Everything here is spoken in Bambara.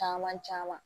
Caman caman